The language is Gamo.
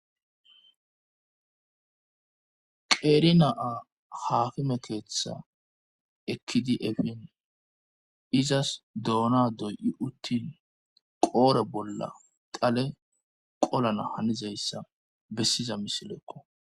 qeerina7a haafime keeththa ekkidi efin izas doona doy7i uttin qoore bolla qale qolana hanizayssa bessiza misileekko